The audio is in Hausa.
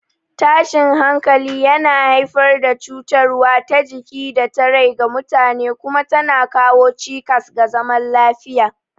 Tashin hankali yana haifar da cutarwa ta jiki da ta rai ga mutane kuma tana kawo cikas ga zaman lafiya.